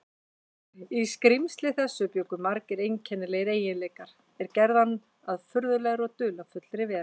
Í skrímsli þessu bjuggu margir einkennilegir eiginleikar, er gerðu hann að furðulegri og dularfullri veru.